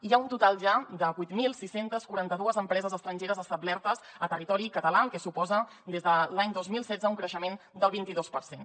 hi ha un total ja de vuit mil sis cents i quaranta dos empreses estrangeres establertes a territori català cosa que suposa des de l’any dos mil setze un creixement del vint dos per cent